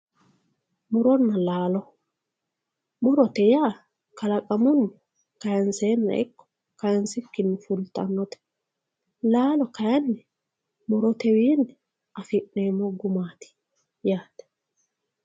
Muronna laalo, murote yaa kalaqamunni kayinsenna ikko kayinsikkinni fultanote laalo kayinni murotewinni affi'neemmo gumati yaate.